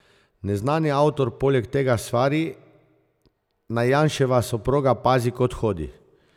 Neznani avtor poleg tega svari, naj Janševa soproga pazi, kod hodi.